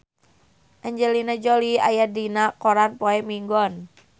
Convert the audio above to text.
Angelina Jolie aya dina koran poe Minggon